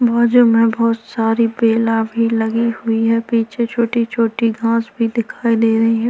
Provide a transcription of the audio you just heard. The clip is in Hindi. बाजु में बहुत सारी पेला भी लगी हुई है पीछे छोटी छोटी घास भी दिखाई दे रही है।